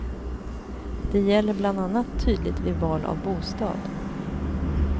Det gäller bland annat tydligt vid val av bostad.